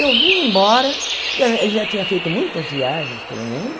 Eu vim embora, porque eh ele já tinha feito muitas viagens pelo mundo.